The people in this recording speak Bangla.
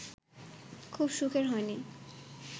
খুব সুখের হয়নি